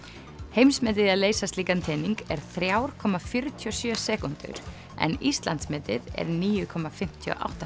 heimsmetið í að leysa slíkan tening er þrjár komma fjörutíu og sjö sekúndur en Íslandsmetið er níu komma fimmtíu og átta